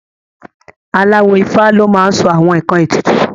Aláwo Ifá ló máa n sọ àwọn ǹkan ètùtù